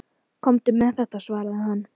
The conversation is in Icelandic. Komdu með þetta, svaraði hann.